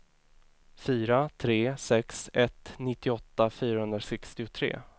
fyra tre sex ett nittioåtta fyrahundrasextiotre